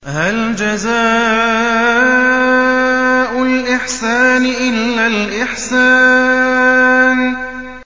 هَلْ جَزَاءُ الْإِحْسَانِ إِلَّا الْإِحْسَانُ